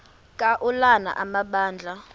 ka ulana amabandla